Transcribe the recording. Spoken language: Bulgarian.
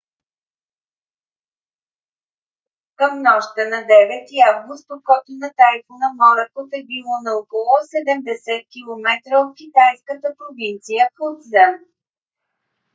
към нощта на 9-и август окото на тайфуна моракот е било на около 70 километра от китайската провинция фуцзян